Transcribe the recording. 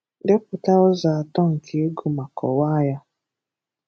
Depụta ụzọ atọ nke ịgụ ma kọwaa ha.